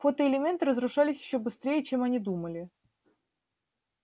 фотоэлементы разрушались ещё быстрее чем они думали